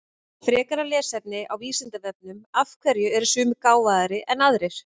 Frekara lesefni á Vísindavefnum Af hverju eru sumir gáfaðri en aðrir?